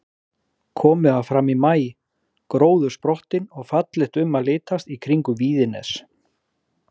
Komið var fram í maí, gróður sprottinn og fallegt um að litast í kringum Víðines.